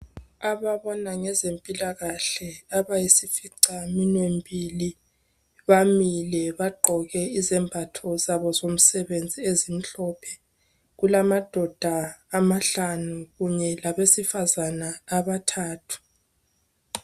Ababona ngezempilakahle abayisificaminwe mbili bamile bagqoke izembatho zabo zomsebenzi ezimhlophe kulamadoda amahlanu kanye labesifazana abathathu